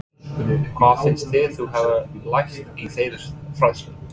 Elín: Hvað finnst þér þú hafa lært í þeirri fræðslu?